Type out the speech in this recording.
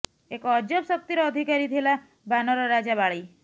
ଏକ ଅଜବ ଶକ୍ତିର ଅଧିକାରୀ ଥିଲା ବାନର ରାଜା ବାଳୀ